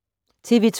TV 2